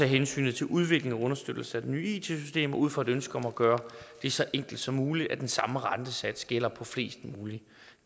hensyn til udviklingen og understøttelsen af det nye it system ud fra et ønske om at gøre det så enkelt som muligt den samme rentesats gælde på flest mulige